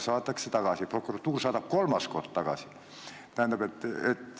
Saadetakse prokuratuuri ja prokuratuur saadab kolmandat korda tagasi.